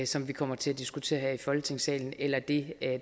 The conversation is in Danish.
som vi kommer til at diskutere her i folketingssalen eller det